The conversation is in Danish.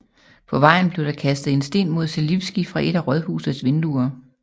På vejen blev der kastet en sten mod Želivský fra et af rådhusets vinduer